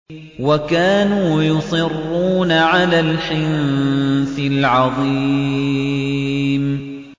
وَكَانُوا يُصِرُّونَ عَلَى الْحِنثِ الْعَظِيمِ